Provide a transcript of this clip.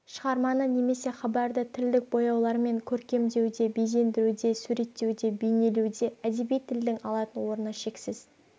шығарманы немесе хабарды тілдік бояулармен көркемдеуде безендіруде суреттеуде бейнелеуде әдеби тілдің алатын орны шексіз